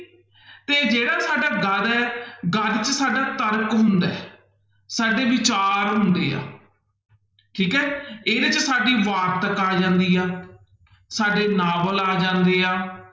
ਤੇ ਜਿਹੜਾ ਸਾਡਾ ਗਦ ਹੈ ਗਦ ਚ ਸਾਡਾ ਤਰਕ ਹੁੰਦਾ ਹੈ ਸਾਡੇ ਵਿਚਾਰ ਹੁੰਦੇ ਆ ਠੀਕ ਹੈ ਇਹਦੇ ਚ ਸਾਡੀ ਵਾਰਤਕ ਆ ਜਾਂਦੀ ਆ, ਸਾਡੇ ਨਾਵਲ ਆ ਜਾਂਦੇ ਹੈ,